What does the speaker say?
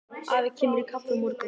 Afi kemur í kaffi á morgun.